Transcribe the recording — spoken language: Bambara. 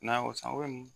N'a y'o san